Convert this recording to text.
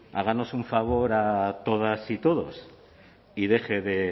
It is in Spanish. háganos un favor a todas y todos y deje de